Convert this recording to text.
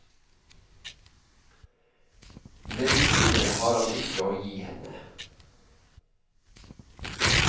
Medisiner har han ikke å gi henne.